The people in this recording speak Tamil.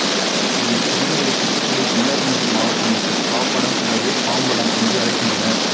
இதை திருநெல்வேலி தூத்துக்குடி கன்னியாகுமரி மாவட்ட மக்கள் பாப்படம் அல்லது பாம்படம் என்று அழைக்கின்றனர்